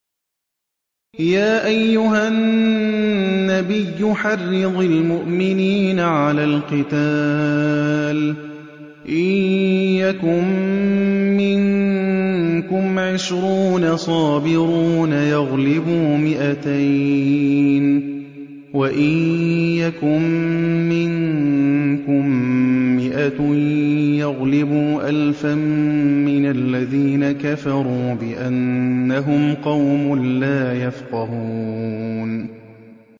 يَا أَيُّهَا النَّبِيُّ حَرِّضِ الْمُؤْمِنِينَ عَلَى الْقِتَالِ ۚ إِن يَكُن مِّنكُمْ عِشْرُونَ صَابِرُونَ يَغْلِبُوا مِائَتَيْنِ ۚ وَإِن يَكُن مِّنكُم مِّائَةٌ يَغْلِبُوا أَلْفًا مِّنَ الَّذِينَ كَفَرُوا بِأَنَّهُمْ قَوْمٌ لَّا يَفْقَهُونَ